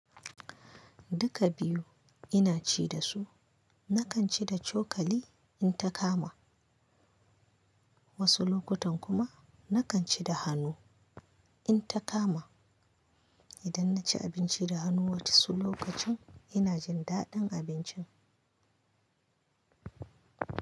Duka biyu ina ci dasu. Nakan ci da cokali in ta kama, wasu lokutan kuma nakan ci da hannu in ta kama. Idan naci abinci da hannu wani wasu lokacin ina jin daɗin abincin.